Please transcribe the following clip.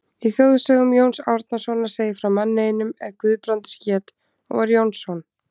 Í þjóðsögum Jóns Árnasonar segir frá manni einum er Guðbrandur hét og var Jónsson.